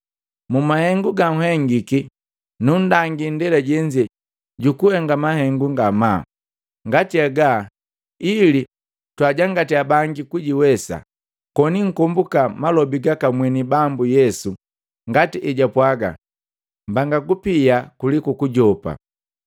Mu mahengu ganhengiki, nundangi indela jenze jukuhenga mahengu ngamaa ngati haga ili twaajangatiya banga kujiwesa, koni nkomboka malobi gaka mweni Bambu Yesu ngati ejapwaaga, ‘Mbanga kupia kuliku kujopa.’ ”